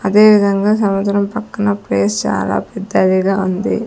అదేవిధంగా సముద్రం పక్కన ప్లేస్ చాలా పెద్దదిగా ఉంది.